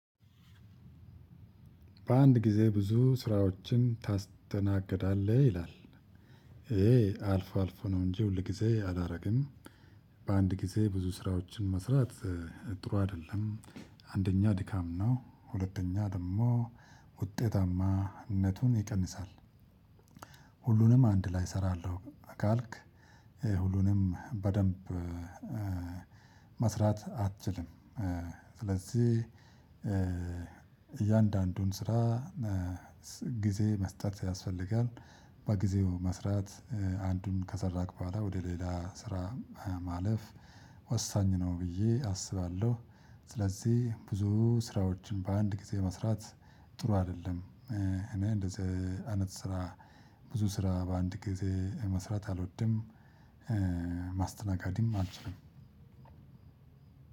በአንድ ጊዜ ብዙ ስራዎችን ታስተናግዳለህ ይላል? ይሄ አልፎ አልፎ ነው እንጂ ሁል ጊዜ አላደርግም። በአንድ ጊዜ ብዙ ስራዎችን መስራት ጥሩ አይደለም። አንደኛ ድካም ነው ሁለተኛ ደግሞ ውጤታማነቱን ይቀንሳል። ሁሉንም አንድ ላይ እሰራለሁ ካልክ ሁሉንም በደንብ መስራት አትችልም። ስለዚህ እያንዳንዱን ስራ ጊዜ መስጠት ያስፈልጋል። በጊዜው መስራት አንዱን ከሰራክ በኋላ ወደ ሌላ ስራ ማለፍ ወሳኝ ነው። ብዬ አስባለሁ። ስለዚህ ብዙ ስራዎችን በአንድ ጊዜ መስራት ጥሩ አይደለም። እኔ እንደዚህ አይነት ስራ ብዙ ስራ በአንድ ጊዜ መስራት አልወድም። ማስተናገድም አልችልም።